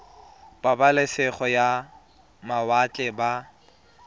ba pabalesego ya mawatle ba